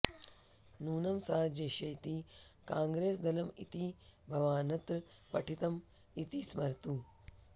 नूनं सा जेष्यति काङ्ग्रेसदलम् इति भवान्नत्र पठितम् इति स्मरतु